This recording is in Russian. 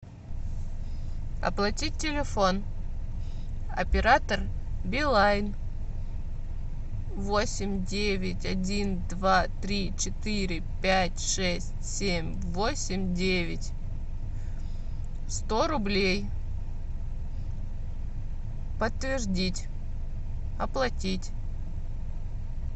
оплатить телефон оператор билайн восемь девять один два три четыре пять шесть семь восемь девять сто рублей подтвердить оплатить